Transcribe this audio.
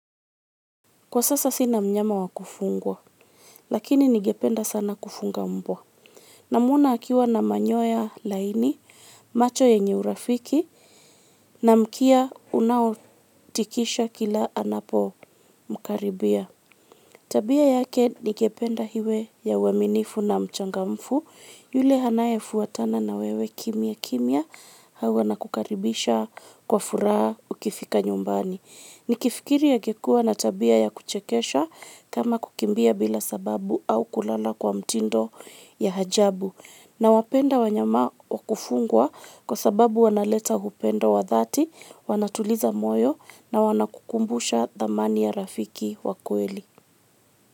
Kwa sasa sina mnyama wa kufungwa, lakini ningependa sana kufunga mbwa. Namuona akiwa na manyoya laini, macho yenye urafiki, na mkia unaotikisha kila anapomkaribia. Tabia yake ningependa hiwe ya uaminifu na mchangamfu, yule hanayefuatana na wewe kimya kimya, au anakukaribisha kwa furaha ukifika nyumbani. Nikifikiri agekuwa na tabia ya kuchekesha, kama kukimbia bila sababu au kulala kwa mtindo ya hajabu. Nawapenda wanyama wa kufungwa kwa sababu wanaleta upendo wa dhati, wanatuliza moyo na wanakukumbusha dhamani ya rafiki wa kweli.